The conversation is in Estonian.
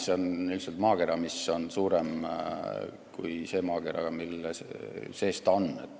See on lihtsalt maakera, mis on suurem kui see maakera, mille sees ta on.